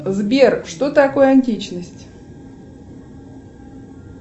сбер что такое античность